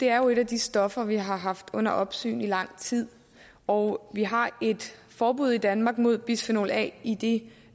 er jo et af de stoffer vi har haft under opsyn i lang tid og vi har et forbud i danmark mod bisfenol a i de